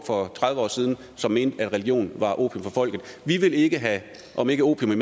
for tredive år siden mente at religion var opium for folket vi vil ikke have om ikke opium